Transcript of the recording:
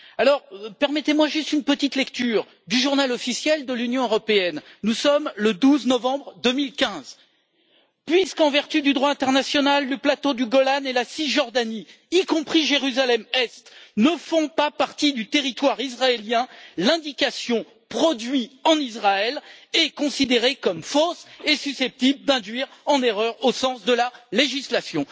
Alors permettez-moi juste une petite lecture du Journal officiel de l'Union européenne nous sommes le 12 novembre 2015 Puisqu'en vertu du droit international, le plateau du Golan et la Cisjordanie ne font pas partie du territoire israélien, l'indication produit en Israël est considérée comme fausse et susceptible d'induire en erreur au sens de la législation.